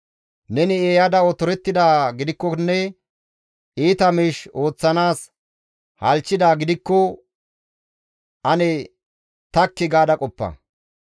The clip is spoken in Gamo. «Neni eeyada otorettidaa gidikkonne iita miish ooththanaas halchchidaa gidikko ane takki gaada qoppa.